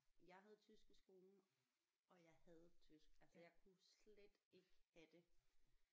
Jeg havde tysk i skolen og jeg hadede tysk jeg kunne slet ikke have det